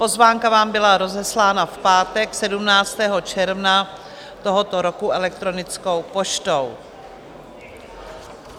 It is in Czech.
Pozvánka vám byla rozeslána v pátek 17. června tohoto roku elektronickou poštou.